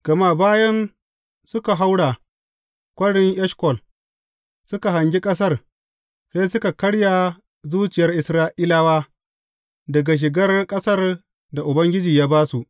Gama bayan suka haura Kwarin Eshkol suka hangi ƙasar, sai suka karya zuciyar Isra’ilawa daga shigar ƙasar da Ubangiji ya ba su.